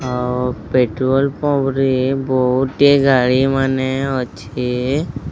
ଓଁ petrol pump ରେ ବହୁତେ ଗାଡ଼ି ମାନେ ଅଛି।